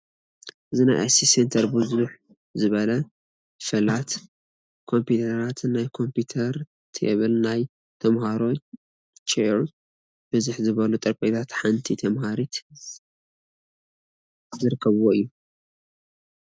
እቲ ናይ ICT Center ብዝሕ ዝበላ ፈላት ኮምፒዩተርራት፣ ናይ ኮምፒዩተር ቴብል ናይ ተምሃሮ ቸይር፣ ብዝሕ ዝብሉ ጠረጴዛታትን ሓንቲ ተምሃሪት ዝርከብዎ እዩ፡፡